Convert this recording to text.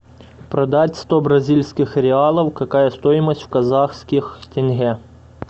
продать сто бразильских реалов какая стоимость в казахских тенге